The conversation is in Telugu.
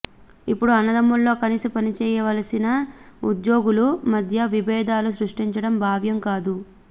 ఇప్పుడు అన్నదమ్ములా కలిసి పని చెయ్యవలసిన ఉద్యోగుల మధ్య విబేధాలను సృష్టించడం భావ్యం కాదు